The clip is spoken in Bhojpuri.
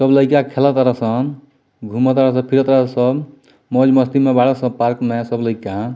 सब लइका खेल तरसन घुमत तरसन फिरे तरसन मौज-मस्ती में बड़ा सब लइका।